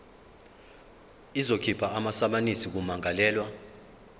izokhipha amasamanisi kummangalelwa